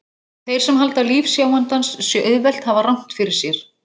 Þeir sem halda að líf sjáandans sé auðvelt hafa rangt fyrir sér.